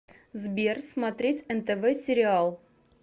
сбер смотреть нтв сериал